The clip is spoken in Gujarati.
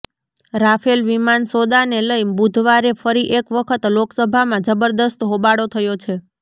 રાફેલ વિમાન સોદાને લઇ બુધવારે ફરી એક વખત લોકસભામાં જબરદસ્ત હોબાળો થયો છે